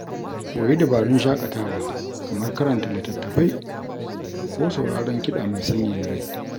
Koyi dabarun shaƙatawa kamar karanta littattafai ko sauraron kiɗa mai sanyaya rai.